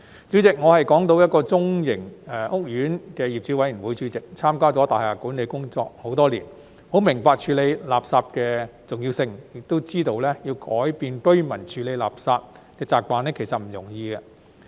主席，我是港島一個中型屋苑的業主委員會主席，參加了大廈管理工作很多年，很明白處理垃圾的重要性，亦知道要改變居民處理垃圾的習慣，其實不易。